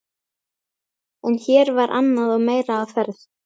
En hér var annað og meira á ferð.